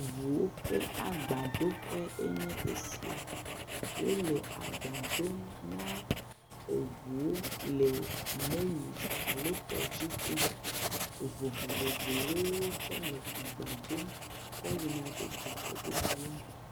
ŋuwo ƒe agbadoƒe enye esia, wole agba dom na eŋuwo le meli alo tɔdziŋu me, eŋu vovovowoe wotsɔ le agba dom kɔ yina ɖe dukɔ bubuwo me.